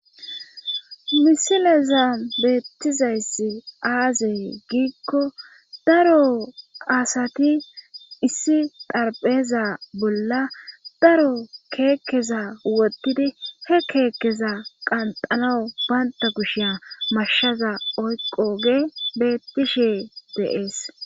misileza beettizayssi aazey giikko daro asati issi tarpheza bolla daro keekkeza woddidi he keekkeza qanxalawu baynta kushiya mashshaza oyqo ge beettishe deees